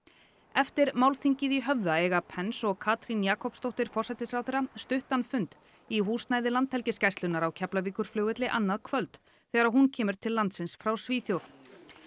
eftir málþingið í Höfða eiga Pence og Katrín Jakobsdóttir forsætisráðherra stuttan fund í húsnæði Landhelgisgæslunnar á Keflavíkurflugvelli annað kvöld þegar hún kemur til landsins frá Svíþjóð